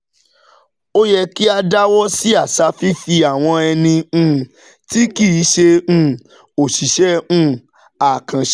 Ó yẹ kí a dáwọ́ sí àṣà fífi àwọn ẹni um tí kì í ṣe um òṣìṣẹ́ um àkànṣe